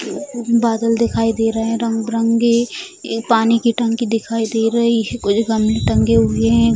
बादल दिखाई दे रहे है रंग-बिरंगे एक पानी की टंकी दिखाई दे रही है कुछ गमले टंगे हुए हैं।